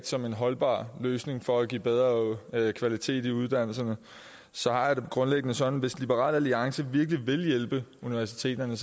som en holdbar løsning for at give bedre kvalitet i uddannelserne og så har jeg det grundlæggende sådan at hvis liberal alliance virkelig vil hjælpe universiteterne